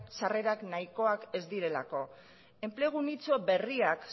sarrerak nahikoak ez direlako enplegu nitxo berriak